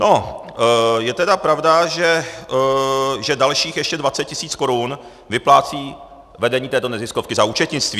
No, je tedy pravda, že dalších ještě 20 tisíc korun vyplácí vedení této neziskovky za účetnictví.